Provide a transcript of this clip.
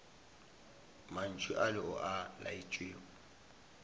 mantšu ale o a laetšwego